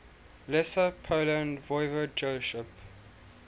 lesser poland voivodeship